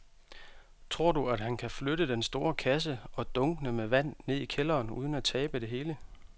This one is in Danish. Tror du, at han kan flytte den store kasse og dunkene med vand ned i kælderen uden at tabe det hele?